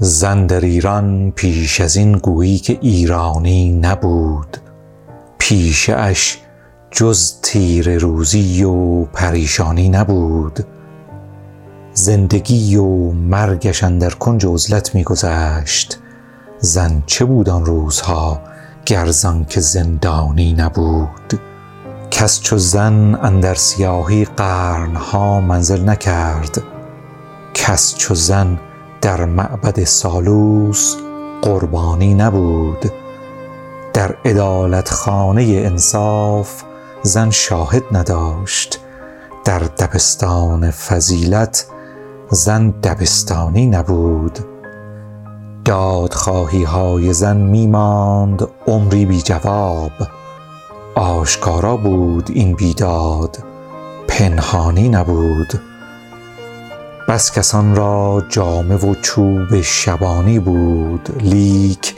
زن در ایران پیش از این گویی که ایرانی نبود پیشه اش جز تیره روزی و پریشانی نبود زندگی و مرگش اندر کنج عزلت می گذشت زن چه بود آن روزها گر زآنکه زندانی نبود کس چو زن اندر سیاهی قرن ها منزل نکرد کس چو زن در معبد سالوس قربانی نبود در عدالت خانه انصاف زن شاهد نداشت در دبستان فضیلت زن دبستانی نبود دادخواهی های زن می ماند عمری بی جواب آشکارا بود این بیداد پنهانی نبود بس کسان را جامه و چوب شبانی بود لیک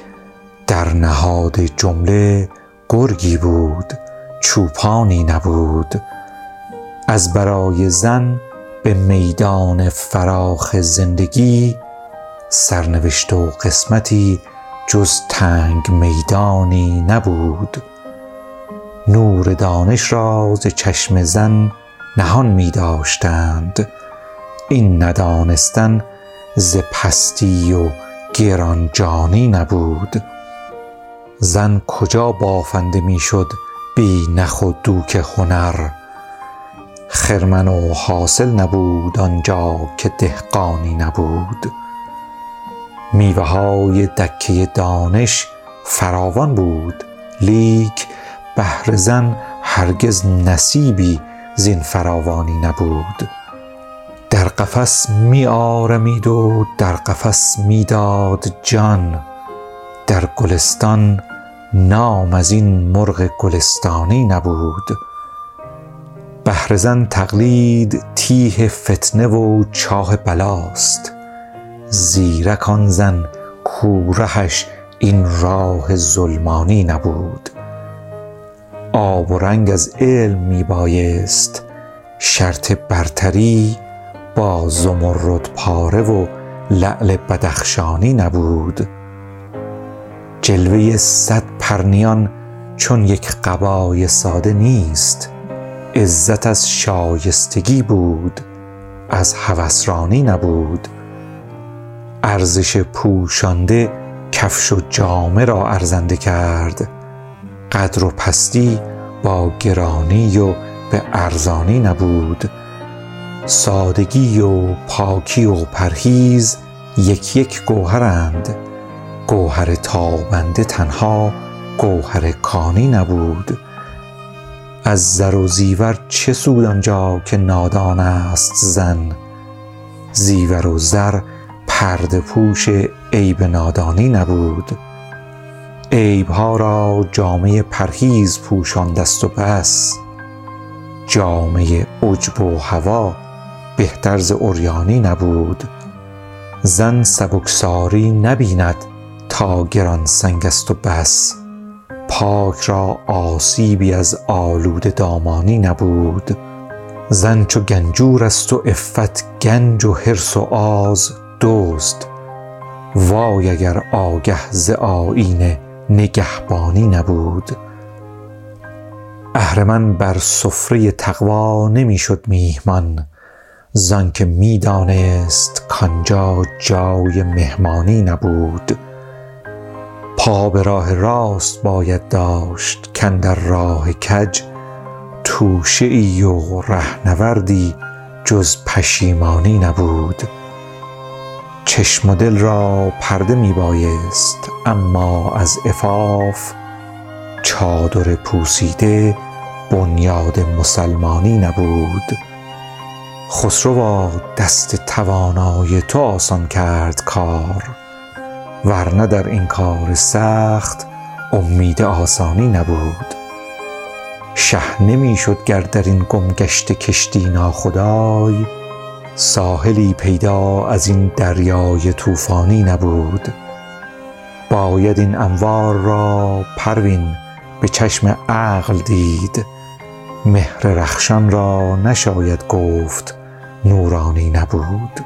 در نهاد جمله گرگی بود چوپانی نبود ازبرای زن به میدان فراخ زندگی سرنوشت و قسمتی جز تنگ میدانی نبود نور دانش را ز چشم زن نهان می داشتند این ندانستن ز پستی و گران جانی نبود زن کجا بافنده می شد بی نخ و دوک هنر خرمن و حاصل نبود آنجا که دهقانی نبود میوه های دکه دانش فراوان بود لیک بهر زن هرگز نصیبی زین فراوانی نبود در قفس می آرمید و در قفس می داد جان در گلستان نام ازین مرغ گلستانی نبود بهر زن تقلید تیه فتنه و چاه بلاست زیرک آن زن کو رهش این راه ظلمانی نبود آب و رنگ از علم می بایست شرط برتری با زمرد یاره و لعل بدخشانی نبود جلوه صد پرنیان چون یک قبای ساده نیست عزت از شایستگی بود از هوس رانی نبود ارزش پوشانده کفش و جامه را ارزنده کرد قدر و پستی با گرانی و به ارزانی نبود سادگی و پاکی و پرهیز یک یک گوهرند گوهر تابنده تنها گوهر کانی نبود از زر و زیور چه سود آنجا که نادان است زن زیور و زر پرده پوش عیب نادانی نبود عیب ها را جامه پرهیز پوشانده ست و بس جامه عجب و هوی بهتر ز عریانی نبود زن سبکساری نبیند تا گران سنگ است و بس پاک را آسیبی از آلوده دامانی نبود زن چو گنجور است و عفت گنج و حرص و آز دزد وای اگر آگه ز آیین نگهبانی نبود اهرمن بر سفره تقوی نمی شد میهمان زآنکه می دانست کآنجا جای مهمانی نبود پا به راه راست باید داشت کاندر راه کج توشه ای و رهنوردی جز پشیمانی نبود چشم و دل را پرده می بایست اما از عفاف چادر پوسیده بنیاد مسلمانی نبود خسروا دست توانای تو آسان کرد کار ورنه در این کار سخت امید آسانی نبود شه نمی شد گر در این گمگشته کشتی ناخدای ساحلی پیدا از این دریای طوفانی نبود باید این انوار را پروین به چشم عقل دید مهر رخشان را نشاید گفت نورانی نبود